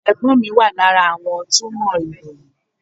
Ẹ̀gbọ́n mi wà lára àwọn túmọ̀ ìròyìn.